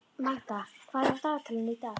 Magda, hvað er á dagatalinu í dag?